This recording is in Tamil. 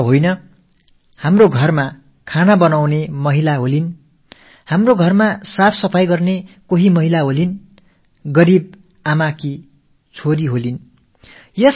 ஏன் நமது இல்லங்களில் உணவு சமைக்கவோ வீட்டு வேலைகளைச் செய்யவோ ஒரு பெண்ணை நாம் அமர்த்தியிருக்கலாம் அல்லது ஏதேனும் ஏழைத் தாயின் மகளாக அவர் இருக்கலாம்